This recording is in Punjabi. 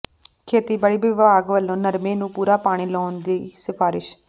ਖੇਤੀਬਾੜੀ ਵਿਭਾਗ ਵੱਲੋਂ ਨਰਮੇ ਨੂੰ ਪੂਰਾ ਪਾਣੀ ਲਾਉਣ ਦੀ ਸਿਫ਼ਾਰਸ਼